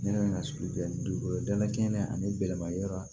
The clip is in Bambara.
Ne bɛ na sugu jɛ ni dugu danaya kɛnɛ ani bɛlɛma yɔrɔ